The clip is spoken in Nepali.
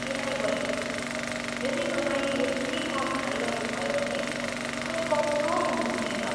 प्यारी बहिनी, यदि तपाईँले यति कम खाइरहनुभयो भने तपाईँ कमजोर हुनुहुनेछ।